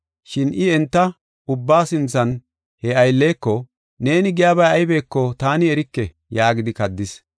Shin I enta ubbaa sinthan he aylleko, “Neeni giyabay aybeko taani erike” yaagidi kaddis.